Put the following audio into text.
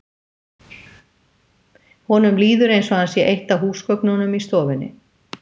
Honum líður eins og hann sé eitt af húsgögnunum í stofunni.